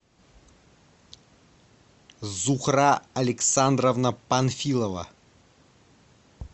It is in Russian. зухра александровна панфилова